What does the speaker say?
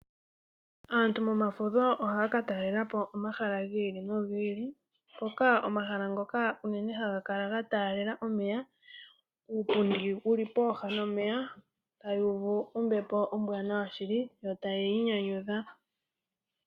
Aantu momafudho ohaya ka talelapo omahala gi ili nogi ili. Mpoka omahala ngoka unene haga kala ga talela omeya, uupundi wuli pooha nomeya, taya uvu ombepo ombwanawa shili, yo taya inyanyudha.